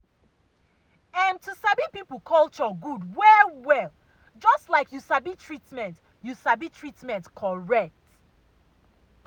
em to sabi person culture good well well just like you sabi treatment you sabi treatment correct.